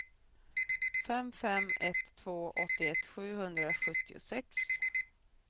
fem fem ett två åttioett sjuhundrasjuttiosex